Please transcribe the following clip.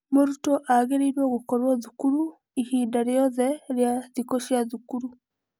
Mũrutwo agĩrĩirwo gũkorwo thukuru ihinda rĩothe rĩa thikũ cia thukuru.